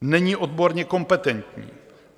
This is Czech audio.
Není odborně kompetentní.